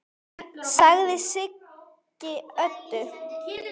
sagði Siggi Öddu.